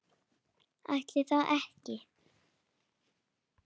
Ætli það ekki?